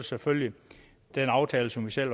selvfølgelig den aftale som vi selv